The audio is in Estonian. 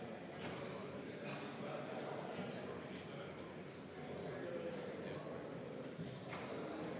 Varem või hiljem me pöördume tagasi normaalsuse juurde.